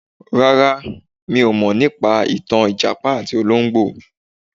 Rárá, mi ò mọ̀ nípa ìtàn ìjàpá àti olóńgbò.